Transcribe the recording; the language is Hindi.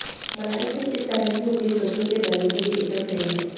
मलाई से इस तरह के कुकीज़ बच्चों के दलों के लिए एकदम सही है